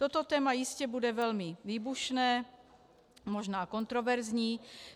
Toto téma jistě bude velmi výbušné, možná kontroverzní.